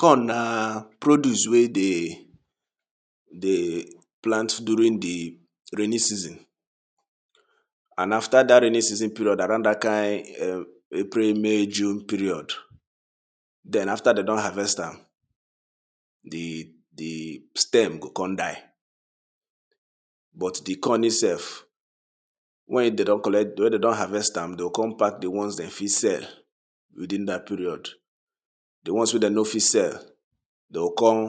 corn na produce wey dey dey plant during de rainy season and after dat rainy season period around dat kind um april may june period den after dey don harvest am de de stem go come die but de corn itself wen dey don collect wen dey don harvest am dey go come pack de ones dem fit sell within dat period de ones wey dem no fit sell dey go come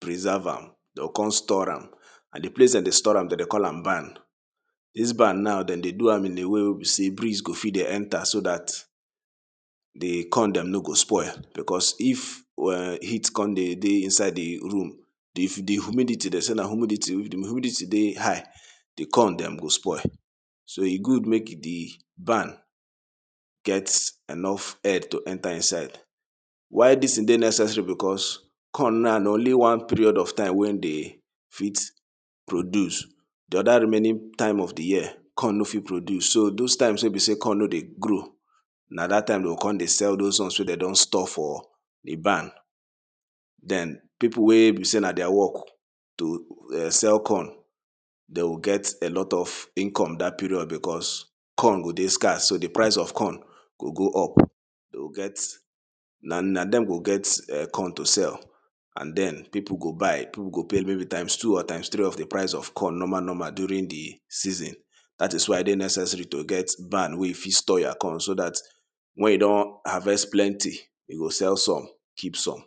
preserve am dey go come store am and de place dey de store am dey de call am barn dis barn now dey de do am in a way wey be sey breeze go fit dey enter so dat de corn dem no go spoil because if um heat come de dey inside de room if de humidity dey sey na humidity de humidity dey high de corn dem go spoil so e good make de barn get enough air to enter inside why dis ting dey necessary because corn now na only one period of time wey him dey fit produce de oda remaining time of de year corn no fit produce so those times wey be sey corn no dey grow na dat time dey go come dey sell those ones wey dem don store for de barn den pipu wey be sey na dia work to um sell corn dey go get a lot of income dat period because corn go dey scarce so de price of corn go go up dey go get na dem go get corn to sell and den pipu go buy pipu go pay maybe times two or times three of de price of corn normalnormal during de season dat is why e dey necessary to get barn wey you fit store your corn so dat wen you don harvest plenty you go sell some keep some.